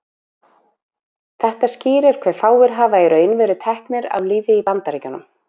þetta skýrir hve fáir hafa í raun verið teknir af lífi í bandaríkjunum